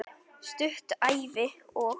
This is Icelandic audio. Stutt Ævi- og